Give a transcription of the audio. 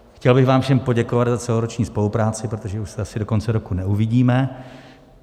Chtěl bych vám všem poděkovat za celoroční spolupráci, protože už se asi do konce roku neuvidíme.